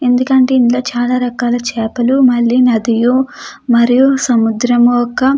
ఎందుకంటే ఇందులో చాలా రకాల చేపలు మల్లి నదియు మరియు సముద్రము యొక్క --